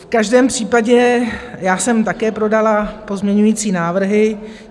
V každém případě já jsem také podala pozměňovací návrhy.